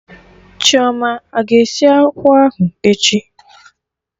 Chioma aga esi akwụ ahụ echi?